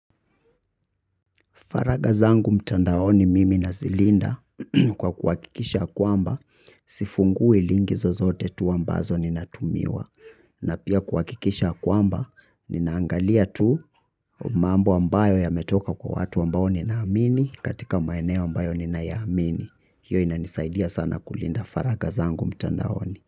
Faraga zangu mtandaoni mimi na zilinda kwa kuwakikisha kwamba sifungui lingi zozote tu ambazo ninatumiwa. Na pia kuhakikisha ya kwamba ninaangalia tu mambo ambayo yametoka kwa watu ambao ninaamini katika maeneo ambayo ninaiamini. Hiyo inanisaidia sana kulinda faraga zangu mtandaoni.